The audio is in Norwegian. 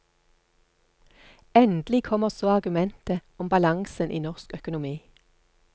Endelig kommer så argumentet om balansen i norsk økonomi.